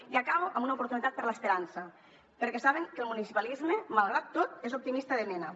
i acabo amb una oportunitat per a l’esperança perquè saben que el municipalisme malgrat tot és optimista de mena